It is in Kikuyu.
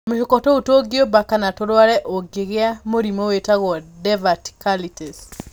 Tũmĩhuko tuũ tũngiumba kana tũrware ũngĩgĩa mũrimũ wĩtagwo diverticulitis.